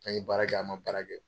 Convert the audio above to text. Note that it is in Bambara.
An ye baara kɛ an ma baara kɛ